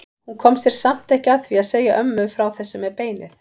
Hún kom sér samt ekki að því að segja ömmu frá þessu með beinið.